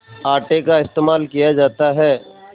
आटे का इस्तेमाल किया जाता है